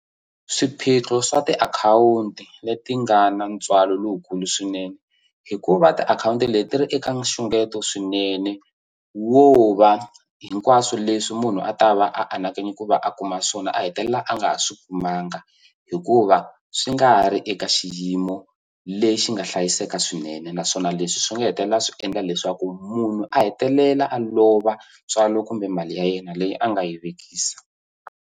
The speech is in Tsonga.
Swiphiqo swa tiakhawunti leti nga na ntswalo lowukulu swinene hikuva tiakhawunti leti ri eka nxungeto swinene wo va hinkwaswo leswi munhu a ta va anakanye ku va a kuma swona a hetelela a nga ha swi kumanga hikuva swi nga ri eka xiyimo lexi nga hlayiseka swinene naswona leswi swi nga hetelela swi endla leswaku munhu a hetelela a lova ntswalo kumbe mali ya yena leyi a nga yi vekisa.